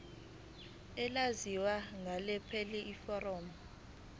elaziwa ngelokuthi yiform